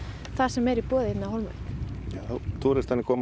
það sem er í boði hérna á Hólmavík túristarnir koma